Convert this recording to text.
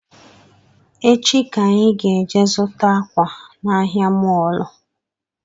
Echi ka anyị ga-eje zụta akwa na ahịa mọlụ